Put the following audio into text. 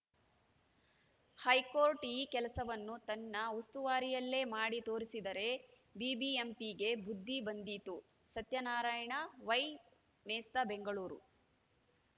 high court ಈ ಕೆಲಸವನ್ನು ತನ್ನ ಉಸ್ತುವಾರಿಯಲ್ಲೇ ಮಾಡಿ ತೋರಿಸಿದರೆ ಬಿಬಿಎಂಪಿಗೆ ಬುದ್ಧಿ ಬಂದೀತು ಸತ್ಯನಾರಾಯಣ ವೈ ಮೇಸ್ತ ಬೆಂಗಳೂರು